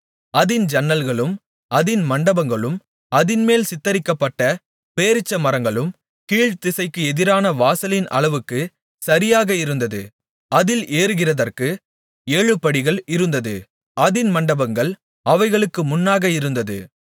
அதின் ஜன்னல்களும் அதின் மண்டபங்களும் அதின்மேல் சித்திரிக்கப்பட்ட பேரீச்சமரங்களும் கீழ்த்திசைக்கு எதிரான வாசலின் அளவுக்குச் சரியாக இருந்தது அதில் ஏறுகிறதற்கு ஏழு படிகள் இருந்தது அதின் மண்டபங்கள் அவைகளுக்கு முன்னாக இருந்தது